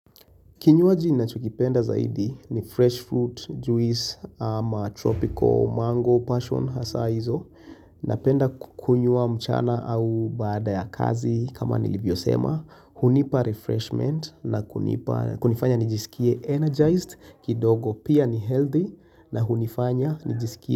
Kinywaji ninachokipenda zaidi ni fresh fruit, juice, ama tropical mango, passion, hasa hizo. Napenda kukunywa mchana au baada ya kazi kama nilivyo sema. Hunipa refreshment na kunifanya nijisikie energized kidogo pia ni healthy na hunifanya nijisikie.